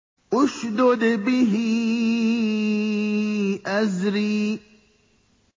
اشْدُدْ بِهِ أَزْرِي